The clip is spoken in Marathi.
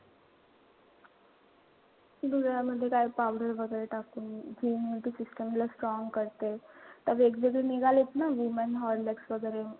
दुधामध्ये काय powder वगैरे टाकून immunity system ला strong करते. त वेगवेगळे निघालेत ना woman horlicks वगैरे.